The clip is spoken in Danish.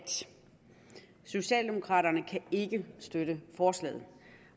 socialdemokraterne kan ikke støtte forslaget